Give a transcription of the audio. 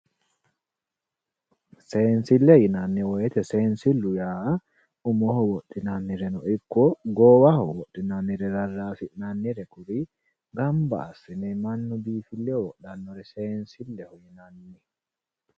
Seensile yinnanni woyte seensilu yaa umoho wodhinannireno ikko goowaho wodhinannire rarasi'nannire gamba assine mannu biifileho wodhanoha seensileho yinnanni.